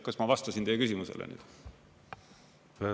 Kas ma vastasin teie küsimusele?